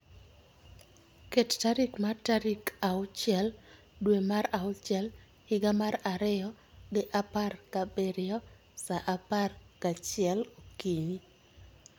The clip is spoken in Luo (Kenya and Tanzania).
Ket tarik mar tarik auchiel dwe mar auchiel higa mar ariyo gi apar gabiriyo sa apar gachiel okinyi